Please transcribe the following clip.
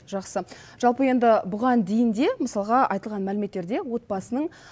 жақсы жалпы енді бұған дейін де мысалыға айтылған мәліметтерде отбасының